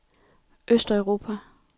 østeuropa